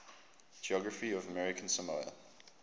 geography of american samoa